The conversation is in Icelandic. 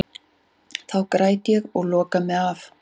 Þá græt ég og loka mig af.